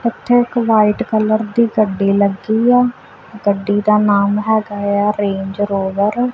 ਏਥੇ ਇੱਕ white colour ਦੀ ਗੱਡੀ ਲੱਗੀ ਆ ਗੱਡੀ ਦਾ ਨਾਮ ਹੈਗਾ ਹੈ ਰੇਂਜ ਰੋਵਰ ।